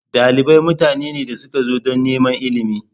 Dalibai mutane ne da suka zo don neman ilimi.